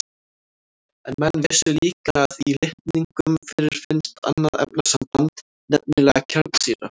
En menn vissu líka að í litningum fyrirfinnst annað efnasamband, nefnilega kjarnsýra.